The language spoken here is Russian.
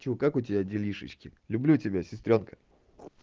чё как у тебя делишечки люблю тебя сестрёнка